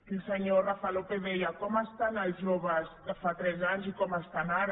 el senyor rafa lópez deia com estan els joves de fa tres anys i com estan ara